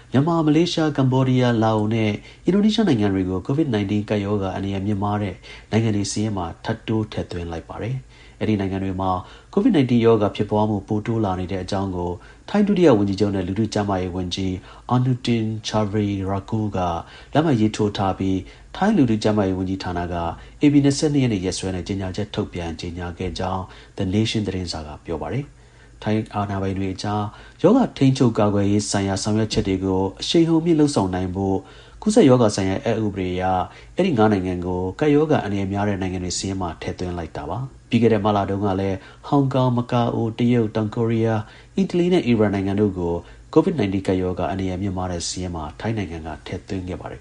မြန်မာ၊ မလေးရှား၊ ကမ္ဘောဒီးယား၊ လာအိုနဲ့ အင်ဒိုနီးရှားနိုင်ငံတွေကို COVID-19 ကပ်ရောဂါ အန္တရာယ် မြင့်မားတဲ့ နိုင်ငံတွေစာရင်းထဲမှာ ထိုင်းနိုင်ငံက ထပ်တိုး ထည့်သွင်းလိုက်ပါတယ်။ အဲဒီ ၅ နိုင်ငံမှာ COVID-19 ရောဂါ ဖြစ်ပွားမှု ပိုတိုးလာနေတဲ့အကြောင်းကို ထိုင်းဒုတိယ ဝန်ကြီးချုပ်နဲ့ လူထုကျန်းမာရေး ဝန်ကြီး Anutin Charnvirakul က လက်မှတ်ရေးထိုးထားပြီး ထိုင်း လူထုကျန်းမာရေး ဝန်ကြီးဌာနက ဧပြီ ၂၂ ရက်နေ့ရက်စွဲနဲ့ ကြေညာချက် ထုတ်ပြန်ကြေညာ ထားခဲ့ပါတယ်။ ထိုင်းအာဏာပိုင်တွေအကြား ရောဂါထိန်းချုပ်၊ ကာကွယ်ရေးဆိုင်ရာ ဆောင်ရွက်ချက်တွေကို အရှိန်ဟုန်မြင့်လုပ်ဆောင်နိုင်ဖို့အတွက် ကူးစက်ရောဂါဆိုင်ရာ အက်ဥပဒေ အရ အဲဒီ ၅ နိုင်ငံကို ကပ်ရောဂါ အန္တရယ် များတဲ့ နိုင်ငံတွေ စာရင်းမှာထည့်သွင်းလိုက်တာလည်း ဖြစ်ပါတယ်။ မတ်လတုန်းကလည်း ထိုင်းနိုင်ငံက ဟောင်ကောင်၊ မကာအို၊ တရုတ်၊ တောင်ကိုရီးယား၊ အီတလီ နဲ့ အီရန်တို့ကို COVID-19 ကပ်ရောဂါ အန္တရာယ် မြင့်မားတဲ့ စာရင်းမှာ ထည့်သွင်းထားခဲ့ပါတယ်